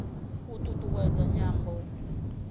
u t ut uwedza nyambo